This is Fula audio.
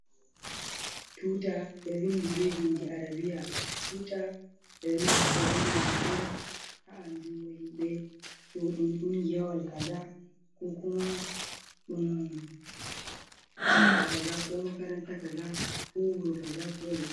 Tuta ɓe vindi be bindi arabiya. Tuta ɓe nafter be majum on ha andungo himɓe ɗo ɗum kungiyawal kaza ko kuma ɗum tsare kaza ko makaranta kaza ko wuro kaza ko let.